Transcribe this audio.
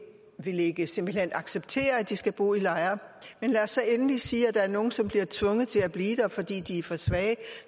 acceptere at de skal bo i lejre men lad os så endelig sige at der er nogle som bliver tvunget til at blive fordi de er for svage